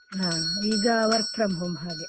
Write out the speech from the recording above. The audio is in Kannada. ಹಾ ಈಗ work from home ಹಾಗೆ.